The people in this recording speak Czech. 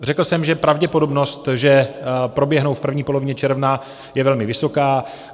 Řekl jsem, že pravděpodobnost, že proběhnou v první polovině června, je velmi vysoká.